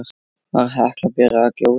Var Hekla byrjuð að gjósa?